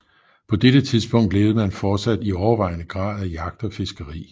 På dette tidspunkt levede man fortsat i overvejende grad af jagt og fiskeri